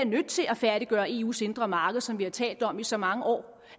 nødt til at færdiggøre eus indre marked som vi har talt om i så mange år